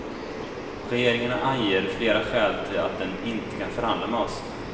Regeringen anger flera skäl till att den inte kan förhandla med oss.